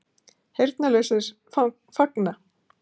Heyrnarlausir fagna